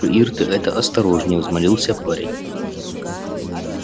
ир ты это осторожнее взмолился парень